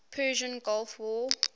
persian gulf war